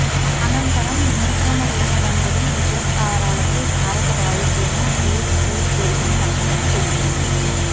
అనంతరం నియంత్రణ రేఖ వెంబడి ఉగ్రస్థావరాలపై భారత వాయుసేన ఎయిర్ స్ట్రయిక్ జరిపిన సంగతీ తెలిసిందే